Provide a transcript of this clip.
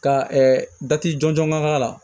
Ka dati jɔnjɔn k'a la